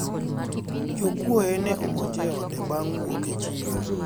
jokuoye ne omonje e ode bang' wuok e chiro